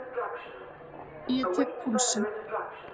Ég tek púlsinn.